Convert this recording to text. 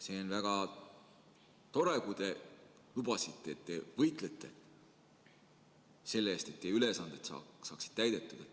" See on väga tore, kui te lubasite, et te võitlete selle eest, et teie ülesanded saaksid täidetud.